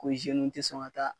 Ko tɛ sɔn ka taa